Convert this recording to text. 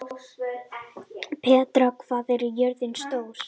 Petra, hvað er jörðin stór?